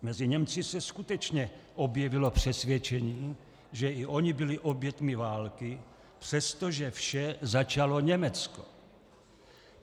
Mezi Němci se skutečně objevilo přesvědčení, že i oni byli oběťmi války, přestože vše začalo Německo.